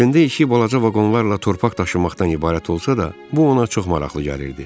Əslində işi balaca vaqonlarla torpaq daşımaqdan ibarət olsa da, bu ona çox maraqlı gəlirdi.